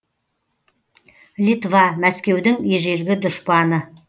литва мәскеудің ежелгі дұшпаны